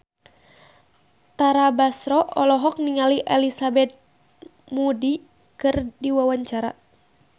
Tara Basro olohok ningali Elizabeth Moody keur diwawancara